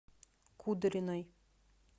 кудриной